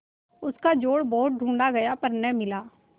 उसका जोड़ बहुत ढूँढ़ा गया पर न मिला